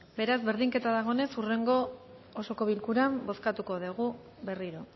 beraz berdinketa dagoenez hurrengo osoko bilkuran bozkatuko dugu berriro